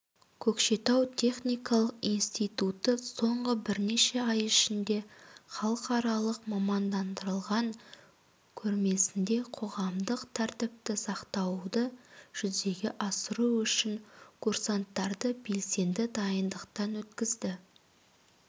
көкшетау техникалық институты соңғы бірнеше ай ішінде халықаралық мамандандырылған көрмесінде қоғамдық тәртіпті сақтауды жүзеге асыру үшін курсанттарды белсенді дайындықтан өткізді